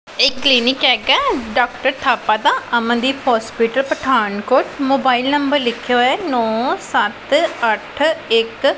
ਇਹ ਇੱਕ ਕਲੀਨਿਕ ਹੈਗਾ ਹੈ ਡਾਕਟਰ ਥਾਪਾ ਦਾ Amandeep hospital Pathankot mobile number ਲਿੱਖਿਆ ਹੋਇਆ ਹੈ ਨੋ ਸੱਤ ਅੱਠ ਇੱਕ।